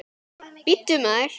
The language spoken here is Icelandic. Bíddu, maður.